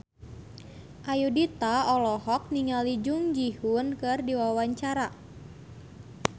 Ayudhita olohok ningali Jung Ji Hoon keur diwawancara